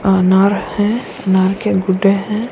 अनार है अनार के गुड्डे हैं --